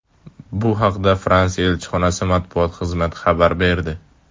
Bu haqda Fransiya elchixonasi matbuot xizmati xabar berdi .